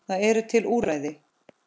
Það eru til úrræði.